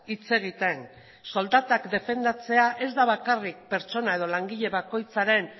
hitz egiten soldatak defendatzea ez da bakarrik pertsona edo langile bakoitzaren